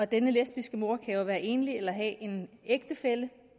denne lesbiske mor kan jo være enlig eller have en ægtefælle